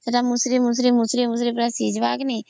ସେତ ମୁଷୁରୀ ମୁଷୁରୀ ସିଯିବା କି ନାଇଁ